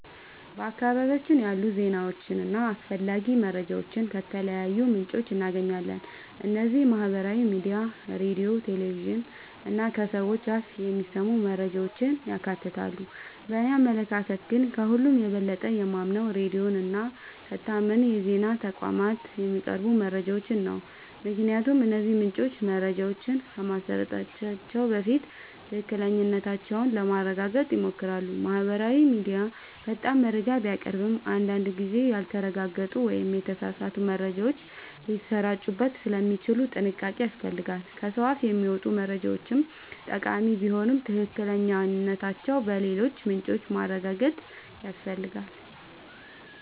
በአካባቢያችን ያሉ ዜናዎችንና አስፈላጊ መረጃዎችን ከተለያዩ ምንጮች እናገኛለን። እነዚህም ማህበራዊ ሚዲያ፣ ሬዲዮ፣ ቴሌቪዥን እና ከሰዎች አፍ የሚሰሙ መረጃዎችን ያካትታሉ። በእኔ አመለካከት ግን፣ ከሁሉ የበለጠ የማምነው ሬዲዮን እና ከታመኑ የዜና ተቋማት የሚቀርቡ መረጃዎችን ነው። ምክንያቱም እነዚህ ምንጮች መረጃዎችን ከማሰራጨታቸው በፊት ትክክለኛነታቸውን ለማረጋገጥ ይሞክራሉ። ማህበራዊ ሚዲያ ፈጣን መረጃ ቢያቀርብም፣ አንዳንድ ጊዜ ያልተረጋገጡ ወይም የተሳሳቱ መረጃዎች ሊሰራጩበት ስለሚችሉ ጥንቃቄ ያስፈልጋል። ከሰው አፍ የሚመጡ መረጃዎችም ጠቃሚ ቢሆኑ ትክክለኛነታቸውን በሌሎች ምንጮች ማረጋገጥ ያስፈልጋል።